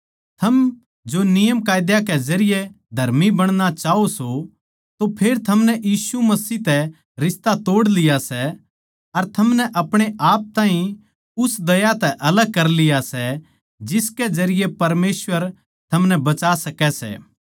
थम जो नियम कै जरिये धर्मी बणना चाह्वो सों तो फेर थमनै यीशु मसीह तै रिश्ता तोड़ लिया सै अर थमनै आपणेआप ताहीं उस दया तै अलग कर लिया सै जिसके जरिये परमेसवर थमनै बचा सकै सै